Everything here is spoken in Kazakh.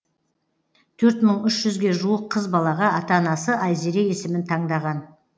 төрт мың үш жүзге жуық қыз балаға ата анасы айзере есімін таңдаған